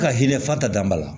Ka hinɛ fatanba la